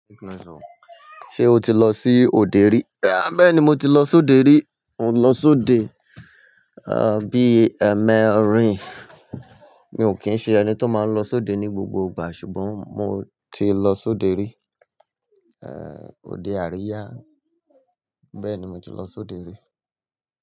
Ṣé o ti lọ sí òde rí? Béèni mo ti lọ sóde rí, mo ti lọ sóde, à bí èmèrìn mi ò kín ṣé ẹni tí ó máa ń lọ sóde ní gbogbo ìgbà ṣùgbọ́n mo ti lọ sóde rí, è òde Àríyá, bẹ́ẹ̀ni mo ti lọ sóde rí.